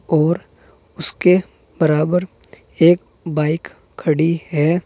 और उसके बराबर एक बाइक खड़ी है।